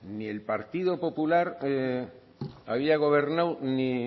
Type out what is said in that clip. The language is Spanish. ni el partido popular había gobernado ni